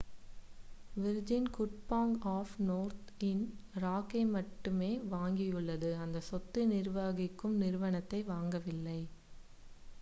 Virgin good bank of Northern ராக்கை மட்டுமே வாங்கியுள்ளது அந்த சொத்து நிர்வகிக்கும் நிறுவனத்தை வாங்கவில்லை